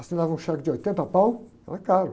Assinava um cheque de oitenta pau, era caro.